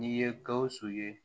N'i ye gawusu ye